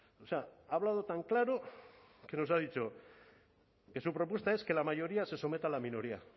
o sea ha hablado tan claro que nos ha dicho que su propuesta es que la mayoría se someta a la minoría